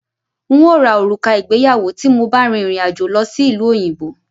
N ó ra òrùka ìgbéyàwó tí mo bá rìn rìn àjò lọ sí ìlú òyìnbó